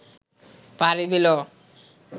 পাড়ি দিল